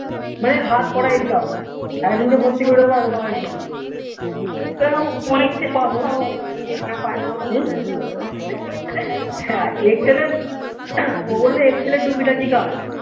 মানে হাত করা income একজন কে ভর্তি করে দেব এতো টাকা income হ্যা excel এর ও বললো excel এর টুকি টাকি কাজ